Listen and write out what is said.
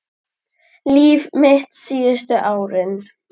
Líf mitt síðustu árin.